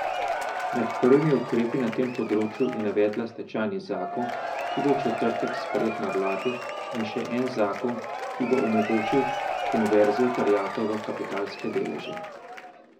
Med prvimi ukrepi na tem področju je navedla stečajni zakon, ki bo v četrtek sprejet na vladi, in še en zakon, ki bo omogočil konverzijo terjatev v kapitalske deleže.